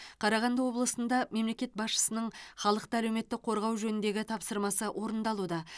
қарағанды облысында мемлекет басшысының халықты әлеуметтік қорғау жөніндегі тапсырмасы орындалуда